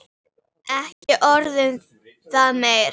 Ekki orð um það meir.